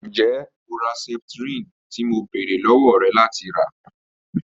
Njẹ o ra septrin ti mo beere lọwọ rẹ lati ra?